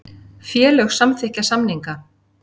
Félög samþykkja samninga